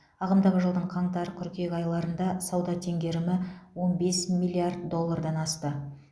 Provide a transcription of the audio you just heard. ағымдағы жылдың қаңтар қыркүйек айларында сауда теңгерімі он бес миллиард доллардан асты